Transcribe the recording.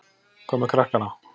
Hvað með krakkana?